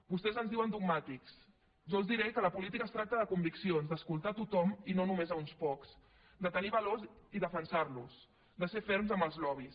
vostès ens diuen dogmàtics jo els diré que la política es tracta de conviccions d’escoltar a tothom i no només a uns pocs de tenir valors i defensar los de ser ferms amb els lobbys